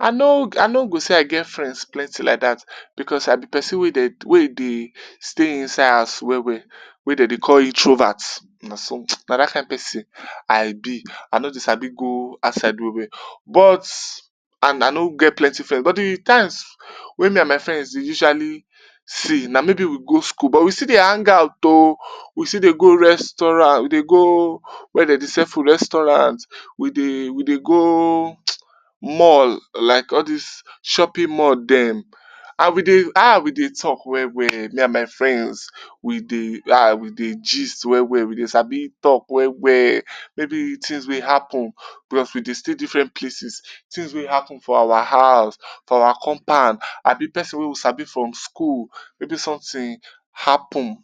I no I no go say I get friends plenty like dat because I be pesin wey dem wey dey stay inside house well well wey dem dey call introvert. Na so, na dat kain pesin I be, I no dey sab go outside well well but and I no get plenty friends but di times wey me and my friends dey usually see, na maybe we go school butwe still dey hangout o, we still dey go restaurant, we dey go wia dem dey sell food restaurant, we dey we dey go mall like all dis shopping mall dem and we dey ah we dey talk well well me and my friends. We dey ah we dey gist well well, we dey sabi talk well well maybe tins wey happen because we dey stay different places, tin wey happen for our house, for our compound abi pesin wey we sabi from school maybe somtin happen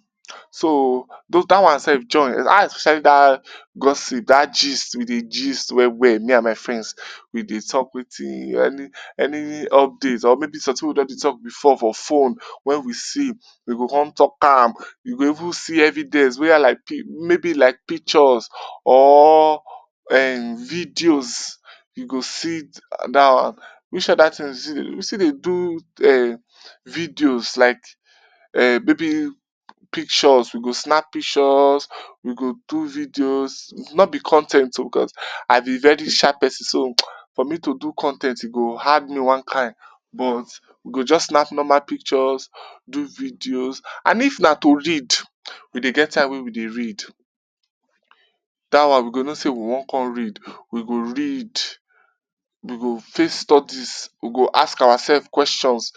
so dat one self join especially dat gossip, dat gist we dey gist well well me and my friends we dey talk watin any update or somtin wey we don dey talk before for phone wen we see we go come talk am, we go even see evident boya like maybe like pictures or um videos we g sidon which oda tins we still dey do um videos like um maybe pictures, we go snap pictures, we go do videos, no be con ten t o because I be very shy pesin so for me to do con ten t e go hard me one kain but we go just snap normal pictures, do videos and if na to read, we dey get time wey we dey read. Dat one we go know sey we wan come read, we go read, we go face studies, we go ask oourselves questions,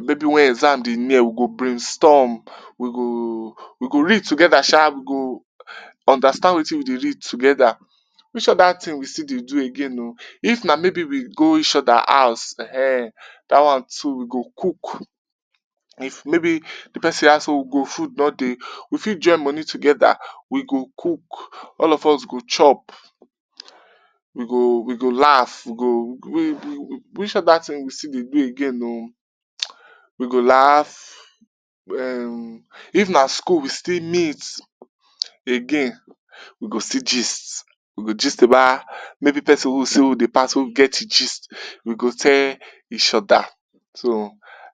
maybe wen exam dey near we go brainstorm, we go we go read together sha, we go understand watin we dey read together, which oda tin we syill dey do again o. if na maybe we go each oda house ehnehn dat one too we go cook, maybe di pesin house wey we go food no dey, we fit join moni together, we go cook, all of us go chop, we go we go laugh, which oda tin we still dey do again o, we go laugh um if na school we still meet again, we go still gist, we go gist about maybe pesin wey we see wey dey pass wey we get gist we go tell each oda. So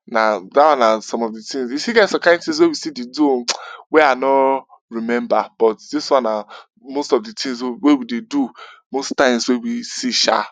na dat one na some pf di tins, e still get some kain tins wey we still dey do o wey I no remember but dis one na most of di tins wey we dey do most times wen we see sha.